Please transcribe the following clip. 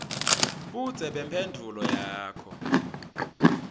budze bemphendvulo yakho